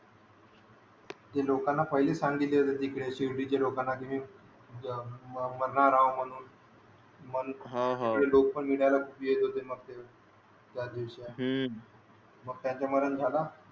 ते लोकाना पहिले सांगितले होते तिकडे शिर्डीच्या लोकाना की मी मारणार अहो म्हणून मग हा हा सगडे निगाले भेटी येत होते मग त्या दिवसी मग त्यांचे मरण झाल